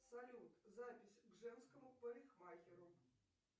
салют запись к женскому парикмахеру